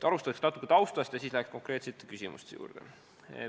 Alustan natuke taustast ja siis lähen konkreetsete küsimuste juurde.